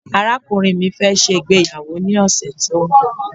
arakunrin mi fe se ìgbéyàwó ni ọsẹ ti o nbọ